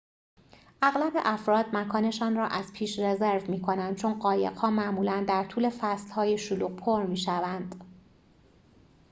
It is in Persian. اغلب افراد مکان‌شان را از پیش رزرو می‌کنند چون قایق‌ها معمولاً در طول فصل‌های شلوغ پر می‌شوند